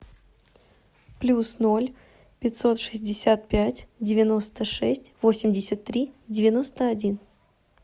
плюс ноль пятьсот шестьдесят пять девяносто шесть восемьдесят три девяносто один